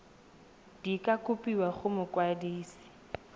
di ka kopiwa go mokwadise